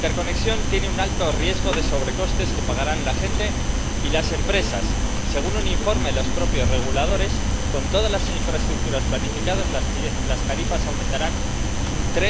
La interconexión tiene un alto riesgo de sobrecostes que pagarán la gente y las empresas según un informe de los propios reguladores, con todas las infraestructuras planificadas las tarifas aumentarán un